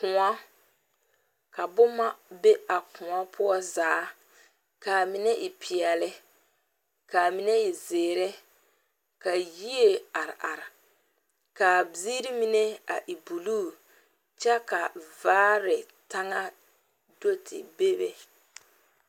Koɔ ka boma be a koɔ poɔ zaa ka a mine e peɛlle ka a mine e zeere ka yie are are ka a ziiri mine e blue kyɛ ka vaare taŋa do te bebe.